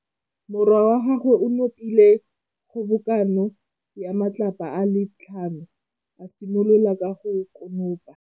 Morwa wa gagwe o nopile kgobokanô ya matlapa a le tlhano, a simolola go konopa.